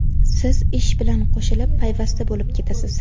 Siz ish bilan qo‘shilib payvasta bo‘lib ketasiz.